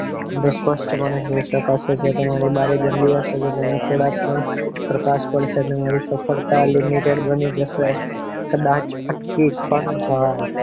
સ્પષ્ટ પણે જોઈ શકાશે જો તમારી બારી ગંદી હશે તો તમે થોડાક પણ પ્રકાશ પડશે એટલે તમારી સફળતા limited બની જશે કદાચ અટકી પણ જાય